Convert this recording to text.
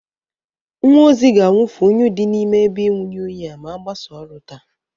Nwa ozi ga-awụfụ unyi dị na ime ebe inwunye unyi a ma agbasa ọrụ taa.